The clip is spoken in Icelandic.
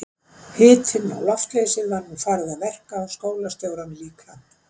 Hitinn og loftleysið var nú farið að verka á skólastjórann líka.